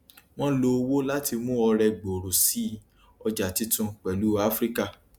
wọn lò owó láti mú ọrẹ gbòòrò sí ọjà títun pẹlú afrika